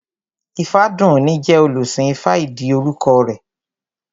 Ifádùúní jẹ́ olùsìn ifá ìdí orúkọ rẹ̀